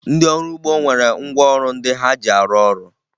Ndị ọrụ ugbo nwere ngwaọrụ ndị ha ji arụ ọrụ